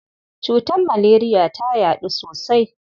Cutar maleriya ta yaɗu sosai.